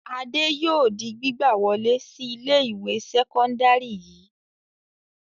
Adé yóò di gbígbà wọlé sí ilé-ìwé sẹ́kọ́ndárì yìí.